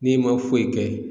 N'i ma foyi kɛ